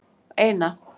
eina